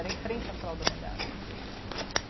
Era em frente à fralda molhada.